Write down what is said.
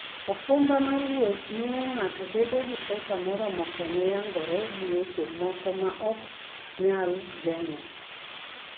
okumba mar wuoth miyo ng'ato bedo gi pesa moromo konye nyagore gi weche moko ma ok nyal geng'o.